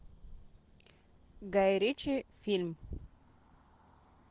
гай ричи фильм